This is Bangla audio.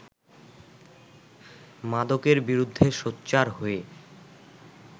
মাদকের বিরুদ্ধে সোচ্চার হয়ে